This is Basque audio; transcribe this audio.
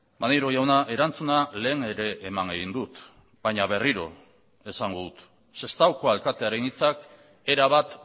maneiro jauna erantzuna lehen ere eman egin dut baina berriro esango dut sestaoko alkatearen hitzak erabat